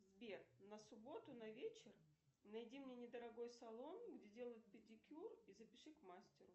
сбер на субботу на вечер найди мне недорогой салон где делают педикюр и запиши к мастеру